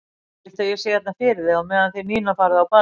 Viltu að ég sé hérna fyrir þig á meðan þið Nína farið á ballið?